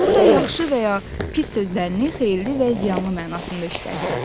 Burda yaxşı və ya pis sözlərini xeyirli və ziyanlı mənasında işlədirik.